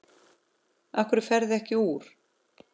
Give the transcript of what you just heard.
Af hverju ferðu ekki úr?